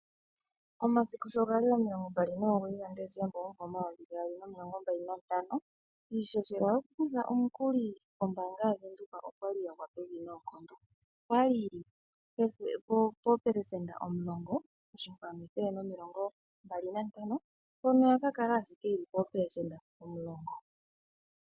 Momasiku sho gali 29 ga Decemba 2025, iishoshela yo ku kutha omukuli kombaanga yaWindhoek okwali ya gwa pevi noonkondo. Okwali poo % 10.125 mpono ya ka kala ashike poo % 10.